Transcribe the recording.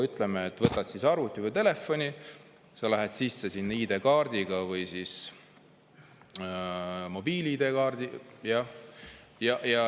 Ütleme, sa võtad arvuti või telefoni ja lähed sisse ID-kaardiga või mobiil-ID-ga.